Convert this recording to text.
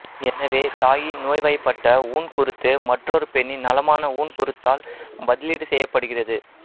எனவே தாயின் நோய்வாய்ப்பட்ட ஊன்குருத்து மற்றொரு பெண்ணின் நலமான ஊன்குருத்தால் பதிலீடு செய்யப்படுகிறது